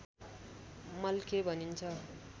मल्खे भनिन्छ